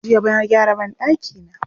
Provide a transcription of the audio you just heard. Jiya na gyara banɗakina.